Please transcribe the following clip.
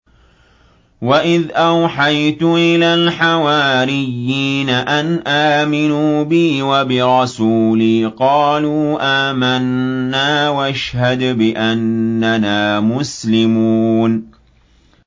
وَإِذْ أَوْحَيْتُ إِلَى الْحَوَارِيِّينَ أَنْ آمِنُوا بِي وَبِرَسُولِي قَالُوا آمَنَّا وَاشْهَدْ بِأَنَّنَا مُسْلِمُونَ